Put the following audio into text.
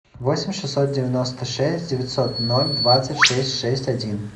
восемь шестьсот девяносто шесть девятьсот ноль двадцать шесть шесть один